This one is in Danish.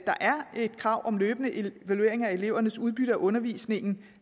krav om løbende evaluering af elevernes udbytte af undervisningen